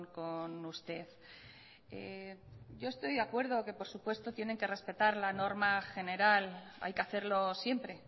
con usted yo estoy de acuerdo que por supuesto tienen que respetar la norma general hay que hacerlo siempre